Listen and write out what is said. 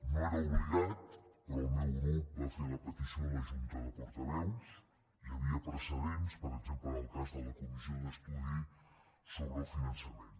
no era obligat però el meu grup va fer la petició a la junta de portaveus hi havia precedents per exemple en el cas de la comissió d’estudi sobre el finançament